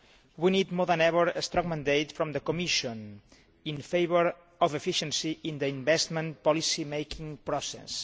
We need more than ever a strong mandate from the Commission in favour of efficiency in the investment policy making process.